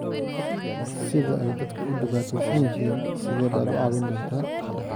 sida ay dadku u dhibaataysan yihiin sidee baad u caawin doontaa